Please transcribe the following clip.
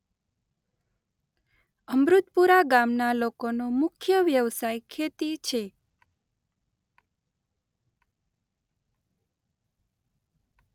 અમૃતપુરા ગામના લોકોનો મુખ્ય વ્યવસાય ખેતી છે.